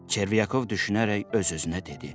Çervyakov düşünərək öz-özünə dedi: